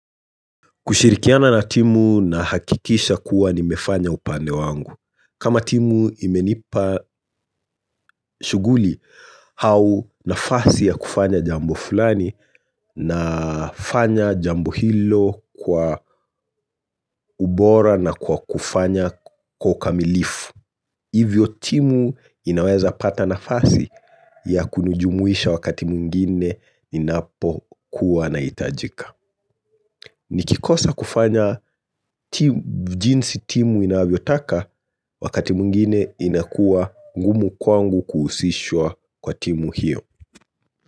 Kushirikiana na timu na hakikisha kuwa nimefanya upande wangu. Kama timu imenipa shughuli, hau nafasi ya kufanya jambo fulani na fanya jambo hilo kwa ubora na kwa kufanya kwa ukamilifu. Hivyo timu inaweza pata nafasi ya kunujumuisha wakati mwngine inapo kuwa inhitajika. Nikikosa kufanya ti jinsi timu inavyotaka wakati mwngine inakuwa ngumu kwangu kuhusishwa kwa timu hiyo.